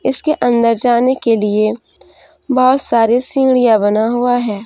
इसके अंदर जाने के लिए बहुत सारे सीढ़ियां बना हुआ है।